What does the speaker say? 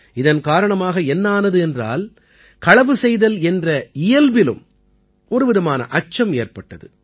இதன் காரணமாக என்ன ஆனது என்றால் களவு செய்தல் என்ற இயல்பிலும் ஒரு விதமான அச்சம் ஏற்பட்டது